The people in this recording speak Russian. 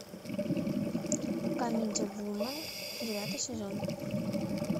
камеди вумен девятый сезон